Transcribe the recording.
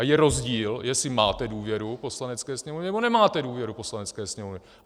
A je rozdíl, jestli máte důvěru Poslanecké sněmovny, nebo nemáte důvěru Poslanecké sněmovny.